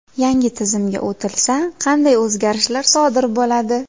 Yangi tizimga o‘tilsa, qanday o‘zgarishlar sodir bo‘ladi?